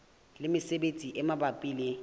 le mesebetsi e mabapi le